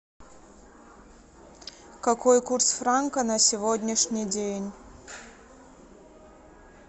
какой курс франка на сегодняшний день